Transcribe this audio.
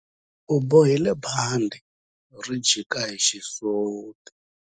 U bohile bandhi ri jika hi xisuti.